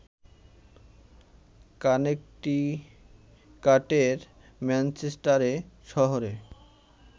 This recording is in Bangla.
কানেকটিকাটের ম্যানচেস্টারে শহরে